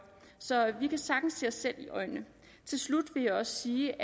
så vi kan sagtens se os selv i øjnene til slut vil jeg også sige